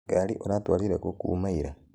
Ngarĩ ũrathwarire kũ kuma ira